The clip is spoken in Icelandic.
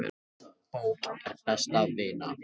Bók er best vina.